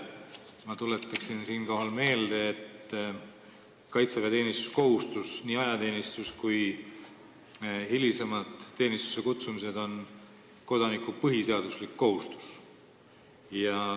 Ma tuletan siinkohal meelde, et kaitseväeteenistuskohustus, nii ajateenistus kui hilisemad teenistusse kutsumised, on kodaniku põhiseaduslik kohustus.